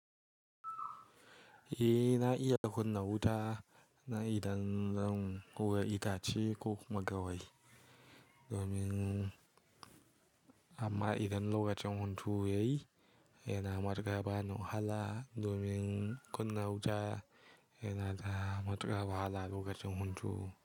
Eh na iya kunna wuta na idan zan hura itace ko kuma gawayi domin amma idan lokacin hunturu yayi yana matuƙar bani wahala domin kunna wuta yana da matuƙar bahala lokacin huntu.